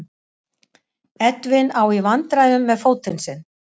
Edwin á í vandræðum með fótinn sinn.